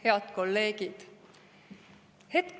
Head kolleegid!